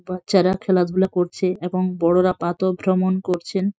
বাচ্চারা খেলাধুলা করছে এবং বড়রা প্রাতঃভ্রমণ করছেন।